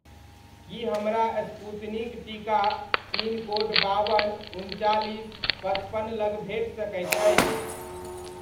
की हमरा स्पूतनिक टीका pin code बावन, उनचालीस, पचपन लग भेट सकैत अछि?